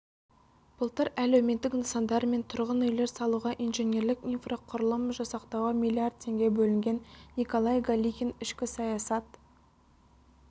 былтыр әлеуметтік нысандар мен тұрғын үйлер салуға инженерлік-инфрақұрылым жасақтауға миллиард теңге бөлінген николай галихин ішкі саясат